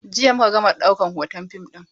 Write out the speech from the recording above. Jiya muka gama ɗaukan hoton fim ɗin.